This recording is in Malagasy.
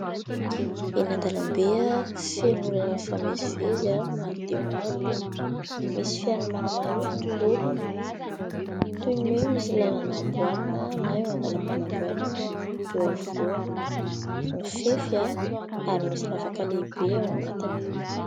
Eny an-dalambe feno olona mifamezivezy maro dia maro. Misy fiara maromaro ihany koa. Toy ny hoe misy lalana amboarina na eo andalam-panamboarana eo afovoany, mifefy ary misy lavaka lehibe ao anatiny.